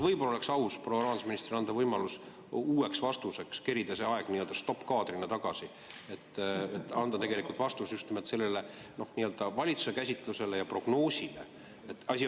Võib-olla oleks aus anda proua rahandusministrile võimalus uueks vastuseks, kerida see aeg nii-öelda stoppkaadrina tagasi, et ta saaks anda vastuse just nimelt sellele valitsuse käsitlusele ja prognoosile?